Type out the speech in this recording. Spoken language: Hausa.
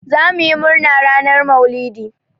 Zamuyi murna ranar Maulidi.